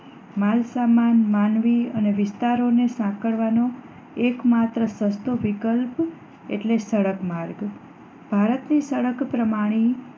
માલ સામાન માનવી અને વિસ્તારો ને સાંકળવાનો એક માત્ર સસ્તો વિકલ્પ એટલે કે સડક માર્ગ ભારત ની સડક પ્રમાણી